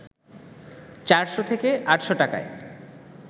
৪শ থেকে ৮শ টাকায়